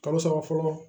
Kalo saba fɔlɔ